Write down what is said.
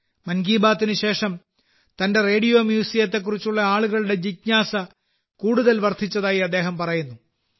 മൻ കി ബാത്തിന് ശേഷം തന്റെ റേഡിയോ മ്യൂസിയത്തെകുറിച്ചുള്ള ആളുകളുടെ ജിജ്ഞാസ കൂടുതൽ വർധിച്ചതായി അദ്ദേഹം പറയുന്നു